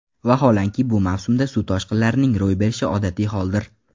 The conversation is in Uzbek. Vaholanki, bu mavsumda suv toshqinlarining ro‘y berishi odatiy holdir.